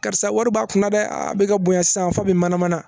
Karisa wari b'a kun na dɛ a bɛ ka bonya sisan fo min manamana